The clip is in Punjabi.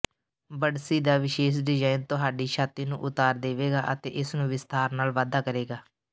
ਬੱਡਸੀ ਦਾ ਵਿਸ਼ੇਸ਼ ਡਿਜ਼ਾਇਨ ਤੁਹਾਡੀ ਛਾਤੀ ਨੂੰ ਉਤਾਰ ਦੇਵੇਗਾ ਅਤੇ ਇਸਨੂੰ ਵਿਸਥਾਰ ਨਾਲ ਵਾਧਾ ਕਰੇਗਾ